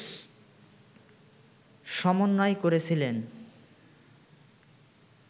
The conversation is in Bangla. সমন্বয় করেছিলেন